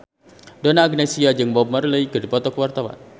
Donna Agnesia jeung Bob Marley keur dipoto ku wartawan